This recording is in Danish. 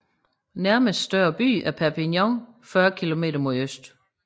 Nærmeste større by er Perpignan 40 km mod øst